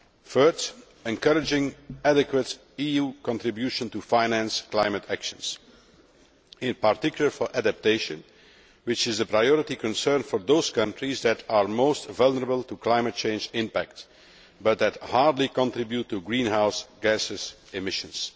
Third, encouraging adequate EU contribution to finance climate actions, in particular, for adaptation, which is the priority concern for those countries that are most vulnerable to climate change impact, but who barely contribute to greenhouse gas emissions.